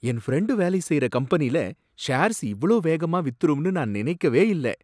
என் friend வேலை செய்ற கம்பெனில ஷேர்ஸ் இவ்ளோ வேகமா வித்துரும்னு நான் நினைக்கவே இல்ல.